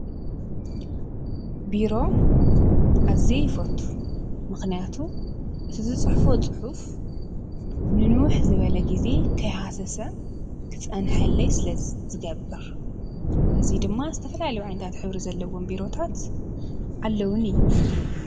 ቢሮ ኣዝየ ይፈቱ። ምክንያቱ እቲ ዝፅሕፎ ፅሑፍ ንንዉሕ ዝበለ ግዜ ከይሃሰሰ ክጸንሐለይ ስለዝገብር፣።እዚ ድማ ዝተፈላለዩ ዓይነታት ሕብሪ ዘለዎም ቢሮታት ኣለዉኒ።